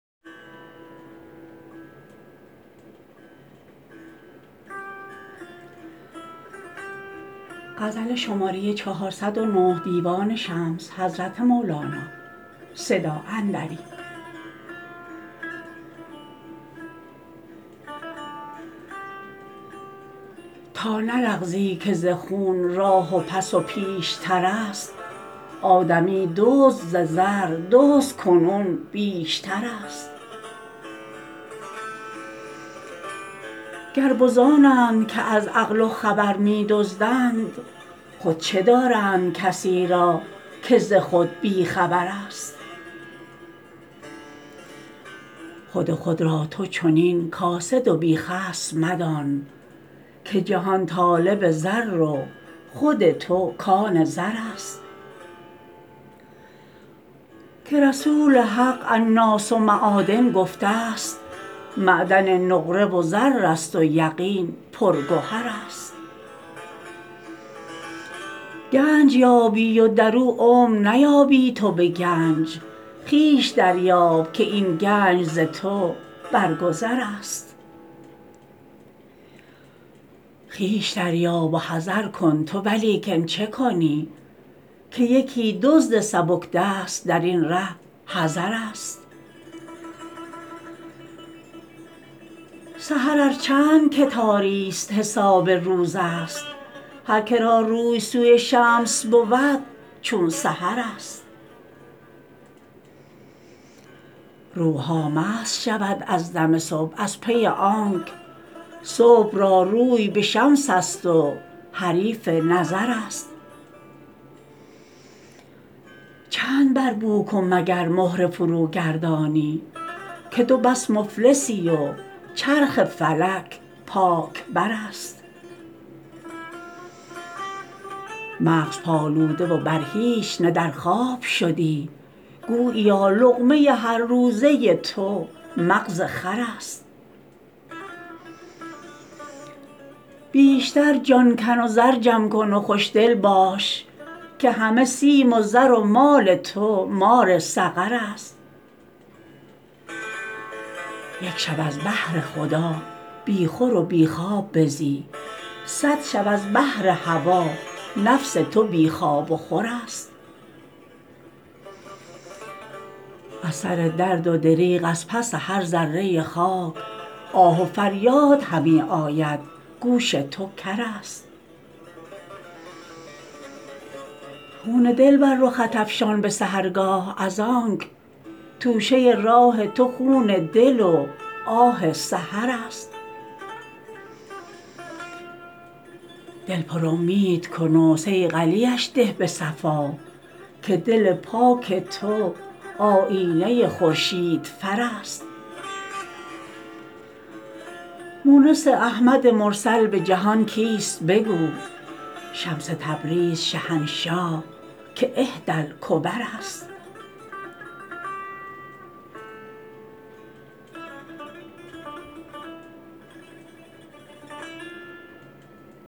تا نلغزی که ز خون راه پس و پیش تر است آدمی دزد ز زردزد کنون بیش تر است گربزان اند که از عقل و خبر می دزدند خود چه دارند کسی را که ز خود بی خبر است خود خود را تو چنین کاسد و بی خصم مدان که جهان طالب زر و خود تو کان زر است که رسول حق الناس معادن گفته ست معدن نقره و زر است و یقین پرگهر است گنج یابی و در او عمر نیابی تو به گنج خویش دریاب که این گنج ز تو بر گذرست خویش دریاب و حذر کن تو ولیکن چه کنی که یکی دزد سبک دست در این ره حذرست سحر ار چند که تاریست حساب روزست هر که را روی سوی شمس بود چون سحرست روح ها مست شود از دم صبح از پی آنک صبح را روی به شمس است و حریف نظرست چند بر بوک و مگر مهره فروگردانی که تو بس مفلسی و چرخ فلک پاک برست مغز پالوده و بر هیچ نه در خواب شدی گوییا لقمه هر روزه تو مغز خرست بیشتر جان کن و زر جمع کن و خوشدل باش که همه سیم و زر و مال تو مار سقرست یک شب از بهر خدا بی خور و بی خواب بزی صد شب از بهر هوا نفس تو بی خواب و خورست از سر درد و دریغ از پس هر ذره خاک آه و فریاد همی آید گوش تو کرست خون دل بر رخت افشان به سحرگاه از آنک توشه راه تو خون دل و آه سحرست دل پرامید کن و صیقلیش ده به صفا که دل پاک تو آیینه خورشید فرست مونس احمد مرسل به جهان کیست بگو شمس تبریز شهنشاه که احدی الکبرست